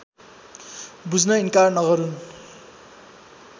बुझ्न इन्कार नगरून्